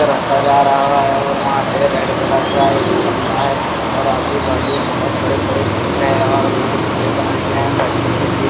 रस्ता जा रहा है और वहां पे रेड कलर का एक बंगला है और आजूबाजू बहत बड़े बड़े पैर हैं और उन्हें कटे बनाए गए है बैठने के लिए।